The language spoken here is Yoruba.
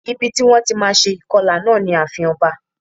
Ibi ti wón ti má a se ìkọlà náà ni ààfin oba